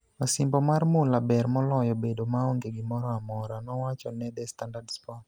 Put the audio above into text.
Osimbo mar mula ber moloyo bedo maonge gimoro amora, " nowacho ne The Standard Sports.